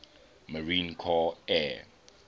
marine corps air